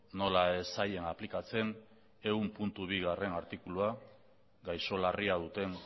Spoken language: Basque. nola ez zaien aplikatzen ehunbigarrena artikulua gaixo larria duten